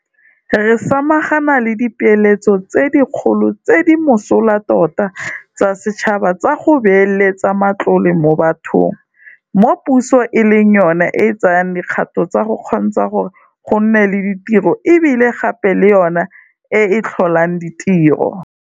Re samagana le dipeeletso tse dikgolo tse di mosola tota tsa setšhaba tsa go beeletsa matlole mo bathong, mo puso e leng yona e tsayang dikgato tsa go kgontsha gore go nne le ditiro e bile gape e le yona e e tlholang ditiro.